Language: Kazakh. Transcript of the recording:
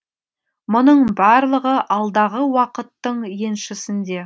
мұның барлығы алдағы уақыттың еншісінде